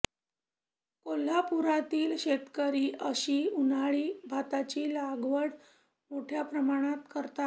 कोल्हापुरातील शेतकरी अशी उन्हाळी भाताची लागवड मोठ्या प्रमाणात करतात